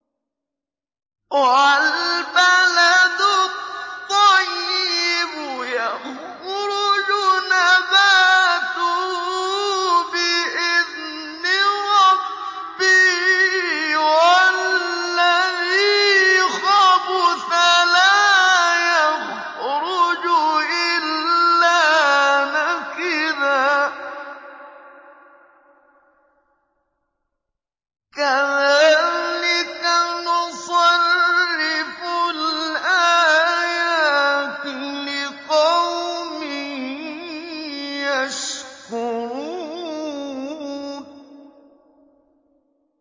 وَالْبَلَدُ الطَّيِّبُ يَخْرُجُ نَبَاتُهُ بِإِذْنِ رَبِّهِ ۖ وَالَّذِي خَبُثَ لَا يَخْرُجُ إِلَّا نَكِدًا ۚ كَذَٰلِكَ نُصَرِّفُ الْآيَاتِ لِقَوْمٍ يَشْكُرُونَ